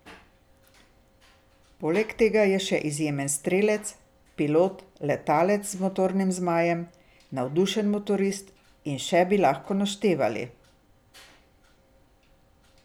Poleg tega je še izjemen strelec, pilot, letalec z motornim zmajem, navdušen motorist in še bi lahko naštevali.